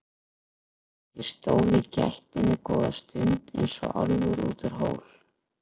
Ég stóð í gættinni góða stund eins og álfur út úr hól.